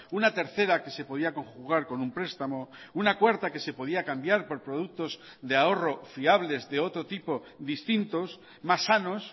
una tercera que se podía conjugar con un prestamo una cuarta que se podía cambiar por productos de ahorro fiables de otro tipo distintos más sanos